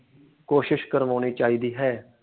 ਕੋਸ਼ਿਸ਼ ਕਰਵਾਉਣੀ ਚਾਹੀਦੀ ਹੈ।